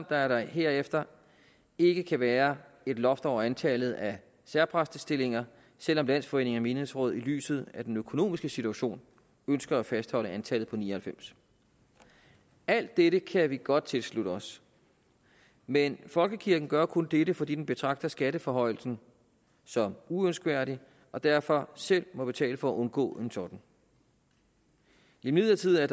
at der herefter ikke kan være et loft over antallet af særpræstestillinger selv om landsforeningen af menighedsråd i lyset af den økonomiske situation ønsker at fastholde antallet på ni og halvfems alt dette kan vi godt tilslutte os men folkekirken gør kun dette fordi den betragter skatteforhøjelsen som uønskværdig og derfor selv må betale for at undgå en sådan imidlertid er